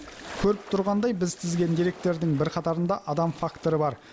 көріп тұрғандай біз тізген деректердің бірқатарында адам факторы бар